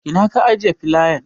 Ina ka ajiye filayan?